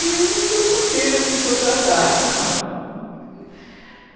E não sei porque eles me contrataram.